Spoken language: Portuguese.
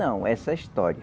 Não, essa história.